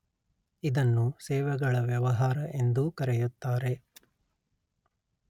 ಇದನ್ನು ಸೇವೆಗಳ ವ್ಯವಹಾರ ಎಂದೂ ಕರೆಯುತ್ತಾರೆ